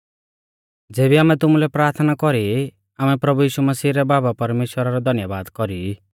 ज़ेबी आमै तुमुलै प्राथना कौरी ई आमै प्रभु यीशु रै बाबा परमेश्‍वरा रौ धन्यबाद कौरी ई